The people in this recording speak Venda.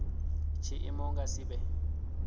tshiimo hu nga si vhe